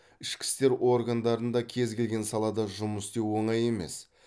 ішкі істер органдарында кез келген салада жұмыс істеу оңай емес